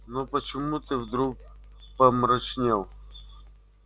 но почему ты вдруг помрачнел